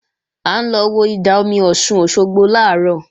À ń lọ wo ìdá-omi Ọ̀ṣun Òṣogbo làárọ̀